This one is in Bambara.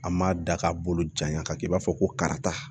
A ma da ka bolo janya ka kɛ i b'a fɔ ko karita